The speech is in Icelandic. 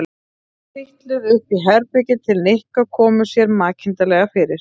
Þau trítluðu upp í herbergi til Nikka og komu sér makindalega fyrir.